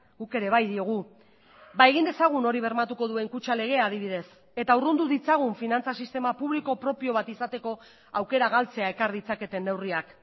guk ere bai diogu egin dezagun hori bermatuko duen kutxa legea adibidez eta urrundu ditzagun finantza sistema publiko propio bat izateko aukera galtzea ekar ditzaketen neurriak